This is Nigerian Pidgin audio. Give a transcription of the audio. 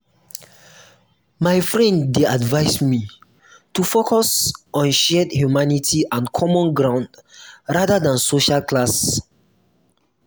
my friend dey advise me to focus on shared humanity and common ground rather than social class.